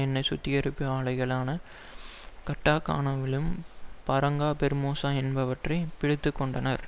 எண்ணெய் சுத்திகரிப்பு ஆலைகளான கட்டாகனாவிலும் பாரங்கா பெர்மேசா என்பவற்றை பிடித்து கொண்டனர்